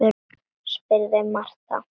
spurði Marta.